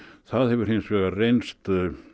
það hefur hins vegar reynst